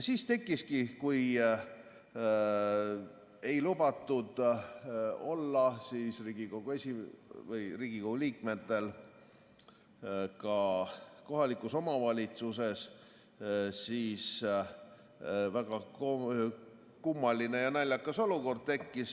Siis, kui Riigikogu liikmetel ei lubatud olla ka kohalikus omavalitsuses, tekkiski väga kummaline ja naljakas olukord.